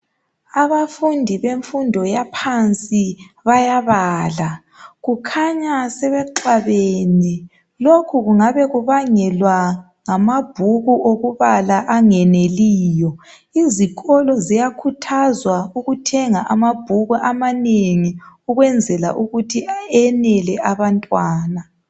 Abafundi bemfundo yaphansi bayabala kukhanya sebexabene lokhu kungabe kubangelwa ngamabhuku okubala angeneliyo. Izikolo ziyakhuthazwa ukuthenga amabhuku amanengi ukwenzela ukuthi enele abantwana.